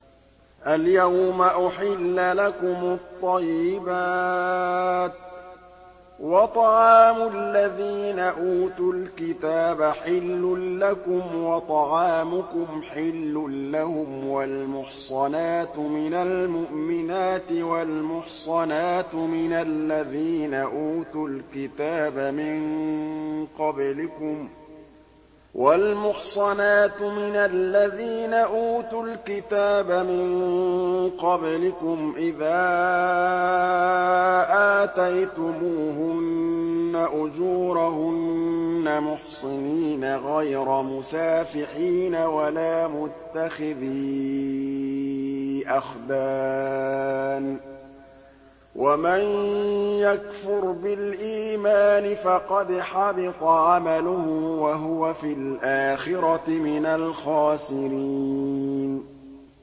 الْيَوْمَ أُحِلَّ لَكُمُ الطَّيِّبَاتُ ۖ وَطَعَامُ الَّذِينَ أُوتُوا الْكِتَابَ حِلٌّ لَّكُمْ وَطَعَامُكُمْ حِلٌّ لَّهُمْ ۖ وَالْمُحْصَنَاتُ مِنَ الْمُؤْمِنَاتِ وَالْمُحْصَنَاتُ مِنَ الَّذِينَ أُوتُوا الْكِتَابَ مِن قَبْلِكُمْ إِذَا آتَيْتُمُوهُنَّ أُجُورَهُنَّ مُحْصِنِينَ غَيْرَ مُسَافِحِينَ وَلَا مُتَّخِذِي أَخْدَانٍ ۗ وَمَن يَكْفُرْ بِالْإِيمَانِ فَقَدْ حَبِطَ عَمَلُهُ وَهُوَ فِي الْآخِرَةِ مِنَ الْخَاسِرِينَ